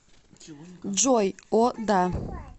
джой о да